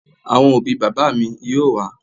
Àwọn òbí bàbá mi yóò wá